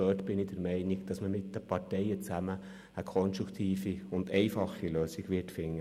Auch hier bin ich der Meinung, dass man mit den Parteien zusammen eine konstruktive und einfache Lösung finden wird.